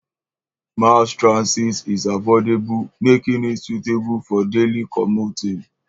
Mass transit is affordable, making it suitable for daily commuting.